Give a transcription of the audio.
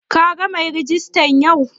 Ka gan mai rejista yau?